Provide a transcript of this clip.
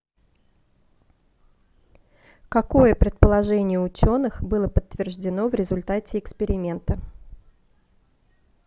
какое предположение ученых было подтверждено в результате эксперимента